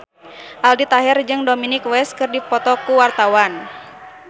Aldi Taher jeung Dominic West keur dipoto ku wartawan